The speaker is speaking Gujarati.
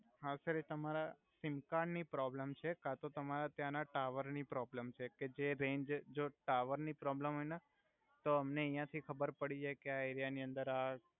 હા સર એ તમારા સિમકાર્ડ ની પ્રોબલમ છે કતો તમારે ત્યાના ટાવર નિ પ્રોબ્લમ છે કે જે રેંજ જો ટાવર ની પ્રોબલમ હોય ને તો અમને અયા થી ખબર પડી જાઈ ક્યા એરિયા ની અંદર આ